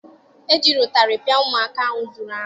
E jiri ụtarị pịa ụmụaka ahụ zuru anụ.